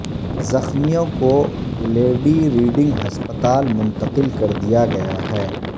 زخمیوں کو Lady Reading ہسپتال منتقل کر دیا گیا ہے